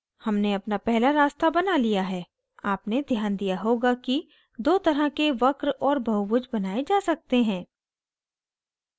हमने अपना पहला रास्ता बना लिया है आपने ध्यान दिया होगा कि दो तरह के वक्र और बहुभुज बनाये जा सकते हैं